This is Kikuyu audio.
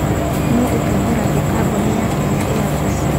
Nũũ ũtongoragia kambuni ya Kenya Airways?